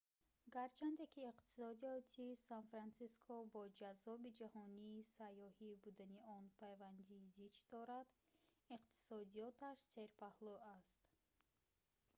гарчанде ки иқтисодиёти сан-франсиско бо ҷаззоби ҷаҳонии сайёҳӣ будани он пайванди зич дорад иктисодиёташ серпаҳлӯ аст